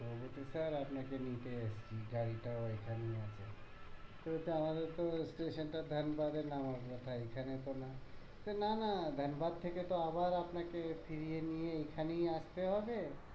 ও বলেছে sir আপনাকে নিতে এসেছি গাড়িটাও এইখানে আছে তো বলছে আমাদের তো station টা ধানবাদে নামার কথা এখানে তো না বলছে না না ধানবাদ থেকে তো আবার আপনাকে ফিরিয়ে নিয়ে এখানেই আসতে হবে